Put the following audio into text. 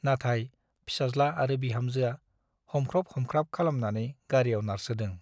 नाथाय फिसाज्ला आरो बिहामजोआ हमख्रब हमख्राब खालामनानै गारीयाव नारसोदों ।